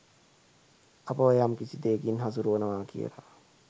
අපව යම්කිසි දෙයකින් හසුරුවනවා කියලා